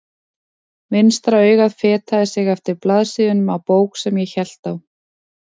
Vinstra augað fetaði sig eftir blaðsíðunum á bók sem ég hélt á.